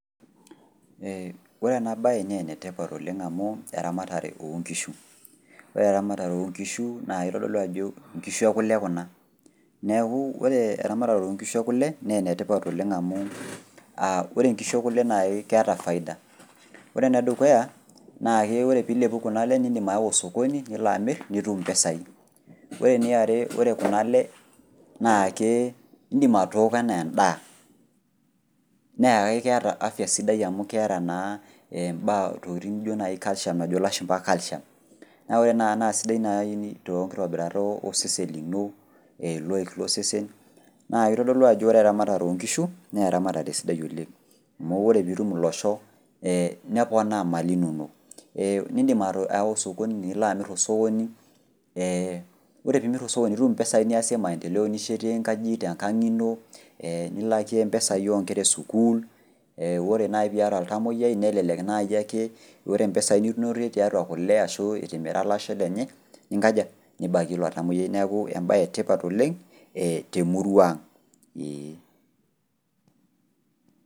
Eeh orena baye neenetipat oleng' amu eramatare oonkishu. Ore eramatare oonkishu nakeitodolu ajo nkishu e kole kuna neaku ore eramatare oonkishu e kole neenetipat oleng' amuu [aa] ore nkishu e kole nai keeta faida. Ore nedukuya naake ore piilepu kunale nindim aawa sokoni niloamirr nitum impesai. Ore niare ore kunale naakee indim atooko anaa endaa naake keata afya sidai amu keata naa mbaa ntokitin nijo nai calcium najo lashumba  calcium. Naa ore naa nai sidai nai tonkitobirat osesen lino loik losesen naa eitodolu ajo ore eramatare oonkishu neeramatare sidai oleng' amu ore pitum ilosho neponaa imali inonok ee nindim au sokoni niloamirr tosokoni ee ore piimirr tosokoni nitum impesai niasie  maendeleo nishetie nkajijik tenkang ino ee nilakie mpesai onkera e  sukul ee ore nai piiata oltamuoyai nelelek naiake ore mpesai ninotie tiatua kole ashuu itimira lasho lenye ninkaja, nibakie ilo tamuoyai neaku embaye etipat oleng' ee temuruang' eeh.